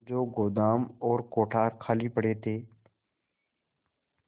जो गोदाम और कोठार खाली पड़े थे